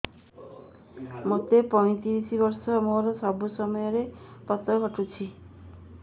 ମୋତେ ପଇଂତିରିଶ ବର୍ଷ ମୋର ସବୁ ସମୟରେ ପତ ଘଟୁଛି